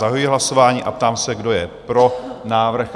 Zahajuji hlasování a ptám se, kdo je pro návrh?